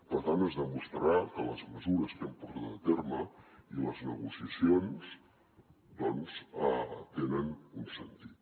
per tant es demostrarà que les mesures que hem portat a terme i les negociacions doncs tenen un sentit